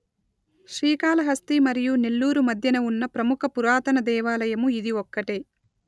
శ్రీకాళహస్తి మరియు నెల్లూరు మధ్యన ఉన్న ప్రముఖ పురాతన దేవాలయము ఇది ఒక్కటే